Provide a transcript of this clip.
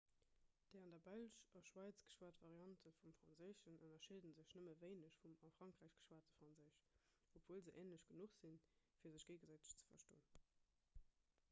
déi an der belsch a schwäiz geschwat variante vum franséischen ënnerscheede sech nëmme wéineg vum a frankräich geschwate franséisch obwuel se änlech genuch sinn fir sech géigesäiteg ze verstoen